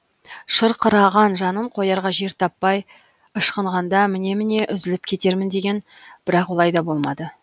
шырқыраған жанын қоярға жер таппай ышқынғанда міне міне үзіліп кетермін деген бірақ олай да болмады